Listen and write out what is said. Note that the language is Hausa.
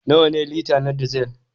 Nawa ne lita na Diesel?